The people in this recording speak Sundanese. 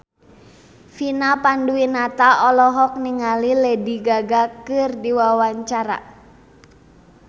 Vina Panduwinata olohok ningali Lady Gaga keur diwawancara